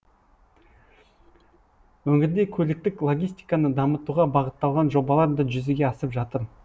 өңірде көліктік логистиканы дамытуға бағытталған жобалар да жүзеге асып жатыр